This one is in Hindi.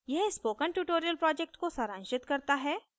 यह spoken tutorial project को सारांशित करता है